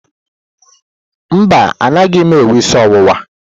Mba, anaghị m enwe isi ọwụwa.